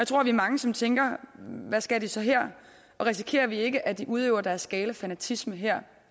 tror vi er mange som tænker hvad skal de så her og risikerer vi ikke at de udøver deres gale fanatisme her